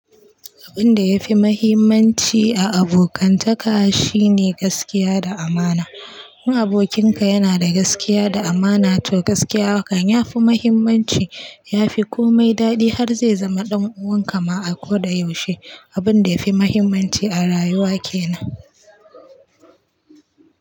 Abun da yafi mahimmanci a abokantaka shine gaskiya da amana. In abokinka yana da gaskiya da amana to gaskiyahakan yafi muhimmanci, yafi komai daɗi har zai zama ɗan uwan kama a koda yaushe. Abun da yafi mahimmanci a rayuwa kenan.